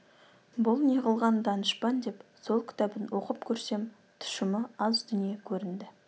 бұл неғылған данышпан деп сол кітабын оқып көрсем тұщымы аз дүние көрінді